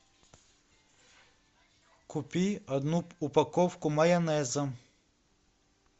купи одну упаковку майонеза